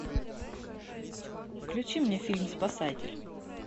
включи мне фильм спасатель